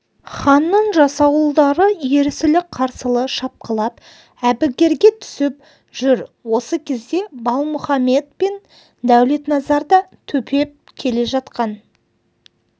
ханның жасауылдары ерсілі-қарсылы шапқылап әбігерге түсіп жүр осы кезде балмұхаммед пен дәулетназар да төпеп келе жатқан